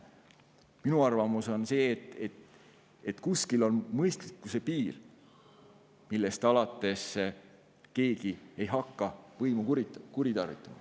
Minu arvamus on see, et kuskil on mõistlikkuse piir, millest alates keegi ei hakka võimu kuritarvitama.